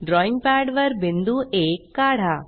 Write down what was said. drawing पॅडवर बिंदू आ काढा